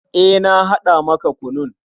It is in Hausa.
Eh, na haɗa maka kunun.